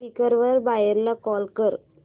Quikr वर buyer ला call कर